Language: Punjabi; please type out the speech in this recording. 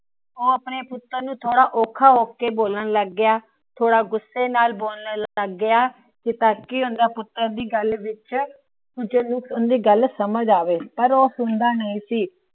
ਉਹ ਆਪਣੇ ਪੁੱਤਤ ਨੂੰ ਥੋੜਾ ਔਖਾ ਹੋ ਕੇ ਬੋਲਣ ਲੱਗ ਗਿਆ, ਥੋੜਾ ਗੁੱਸੇ ਨਾਲ ਬੋਲਣ ਲੱਗ ਗਿਆ। ਤਾਕਿ ਉਂਦੇ ਪੁੱਤਰ ਦੀ ਗੱਲ ਵਿਚ ਸਮਝ ਆਵੇ। ਪਰ ਉਹ ਸੁਣਦਾ ਨਹੀਂ ਸੀ।